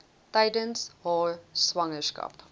tydens haar swangerskap